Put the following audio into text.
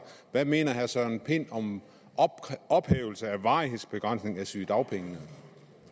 hvad mener herre søren pind om en ophævelse af varighedsbegrænsningen af sygedagpengene